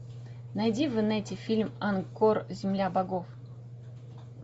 найди в инете фильм ангкор земля богов